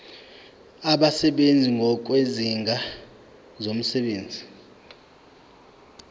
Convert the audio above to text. abasebenzi ngokwezigaba zomsebenzi